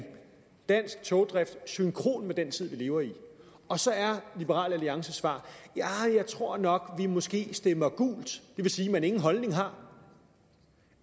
dansk togdrift i synkroni med den tid vi lever i og så er liberal alliances svar ja jeg tror nok vi måske stemmer gult det vil sige at man ingen holdning har